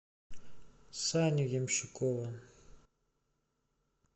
саню ямщикова